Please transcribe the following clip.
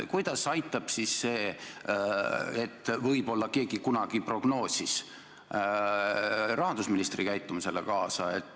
Kuidas aitab see, et võib-olla keegi kunagi prognoosis seda, rahandusministri käitumisele kaasa?